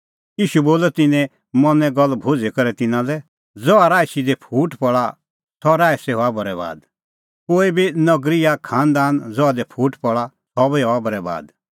ईशू बोलअ तिन्नें मनें गल्ल भुझ़ी करै तिन्नां लै ज़हा राईसी दी फूट पल़ा सह राईसी हआ बरैबाद कोई बी नगरी या खांनदान ज़हा दी फूट पल़ा सह बी हआ बरैबाद